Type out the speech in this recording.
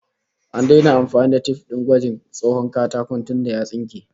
An daina amfani da tif din gwajin tsawon katakon tunda ya tsunke